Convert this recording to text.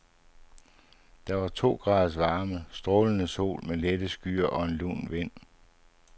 Der var to graders varme, strålende sol med lette skyer og en lun vind.